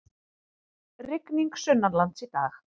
Rigning sunnanlands í dag